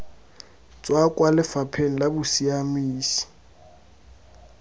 tswa kwa lefapheng la bosiamisi